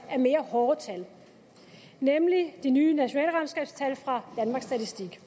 mere hårde tal nemlig de nye nationalregnskabstal fra danmarks statistik